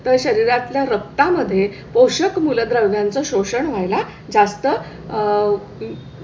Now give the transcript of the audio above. तर शरीरातल्या रक्ता मध्ये पोषक मूलद्रव्यांचं शोषण व्हायला जास्त आह